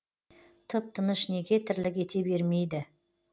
тып тыныш неге тірлік ете бермейді